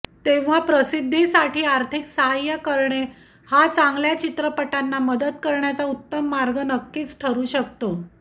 तेंव्हा प्रसिध्दीसाठी आर्थिक साह्य करणे हा चांगल्या चित्रपटांना मदत करण्याचा उत्तम मार्ग नक्कीच ठरू शकतो